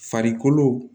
Farikolo